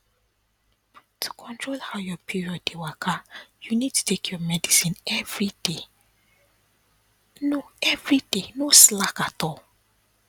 to control how your period dey waka you need to take your medicine everyday no everyday no slack at all